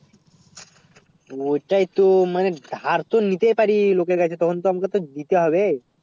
ওটাই তো মানে ধার তো নিতে ই পারে লোকের কাছ থেকে তখন তো আমাকে তো দিতে হবে